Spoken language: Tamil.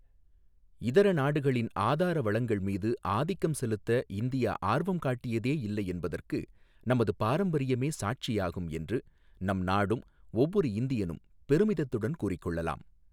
இதரநாடுகளின் ஆதாரவளங்கள் மீது ஆதிக்கம் செலுத்த இந்தியா ஆர்வம்காட்டியதேயில்லை, என்பதற்கு நமது பாரம்பரியமே சாட்சியாகும் என்று நம் நாடும் ஒவ்வொரு இந்தியனும் பெருமிதத்துடன் கூறிக் கொள்ளலாம்.